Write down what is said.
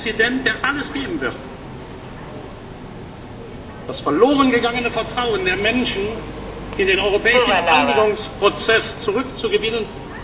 einsetzen! Ein Präsident, der alles geben wird, das verloren gegangene Vertrauen der Menschen in den europäischen Einigungsprozess zurückzugewinnen.